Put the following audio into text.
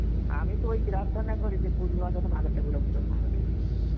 আমি তো ওই প্রার্থনা করি যে বুড়িমা যেন ভালো থাকুক লোকজন ভালো থাকে